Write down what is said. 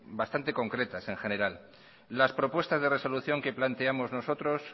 bastante concretas en general las propuestas de resolución que planteamos nosotros